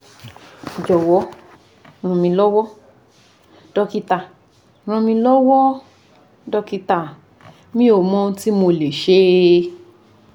jowo ranmilowo dokita ranmilowo dokita mi o mo ohun ti mo le se